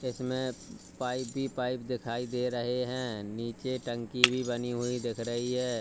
इसमें पाइप भी पाइप दिखाई दे रहे हैं नीचे टंकी भी बनी हुई दिख रही है।